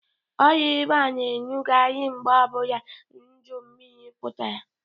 Ọrịa ịba na enughari mgbe ọbụla udu mmiri pụtara.